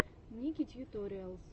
ники тьюториалс